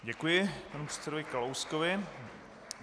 Děkuji panu předsedovi Kalouskovi.